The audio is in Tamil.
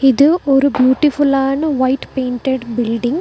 இது ஒரு பியூட்டி ஃபுல்லான ஒயிட் பெயிண்டட் பில்டிங் .